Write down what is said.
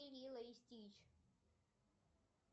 лило и стич